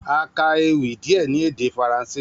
A ka ewì díè ní èdè faransé